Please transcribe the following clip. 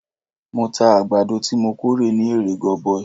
Mo ta àgbàdo tí mo kórè ní èrè goboi.